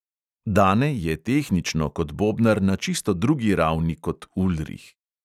Dane je tehnično kot bobnar na čisto drugi ravni kot ulrih.